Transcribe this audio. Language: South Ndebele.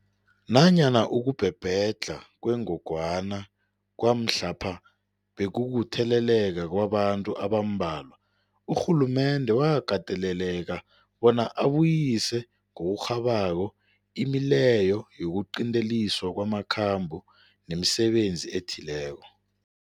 Nanyana ukubhebhedlha kwengogwana kwamhlapha bekukutheleleka kwabantu abambalwa, urhulumende wakateleleka bona abuyise ngokurhabako imileyo yokuqinteliswa kwamakhambo nemisebenzi ethileko.